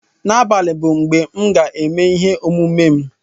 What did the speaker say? N'abalị bụ mgbe m ga-eme ihe omume m